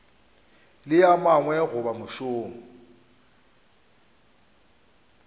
le a mangwe goba mošomo